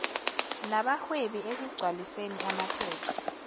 nabahwebi ekugcwaliseni amaphepha